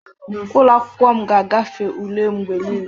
Ụlọ akwụkwọ m ga-agafe ule mgbe niile